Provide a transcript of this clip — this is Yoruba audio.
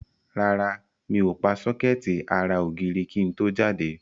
Rárá, mi ò pa sọ́kẹ́ẹ̀tì ara ògiri kí n tó jáde.